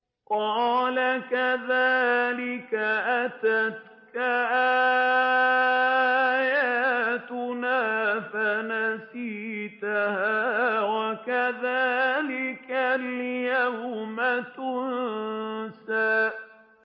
قَالَ كَذَٰلِكَ أَتَتْكَ آيَاتُنَا فَنَسِيتَهَا ۖ وَكَذَٰلِكَ الْيَوْمَ تُنسَىٰ